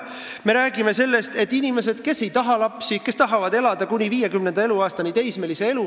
Me räägime nendest inimestest, kes ei taha lapsi ja kes tahavad elada teismelise elu 50. eluaastani.